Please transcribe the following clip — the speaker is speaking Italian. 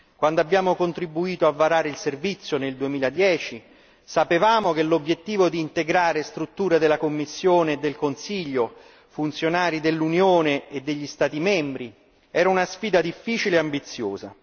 Quando abbiamo contribuito a varare il servizio nel 2010, sapevamo che l'obiettivo di integrare strutture della Commissione e del Consiglio, funzionari dell'Unione e degli Stati membri era una sfida difficile e ambiziosa.